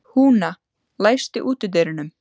Húna, læstu útidyrunum.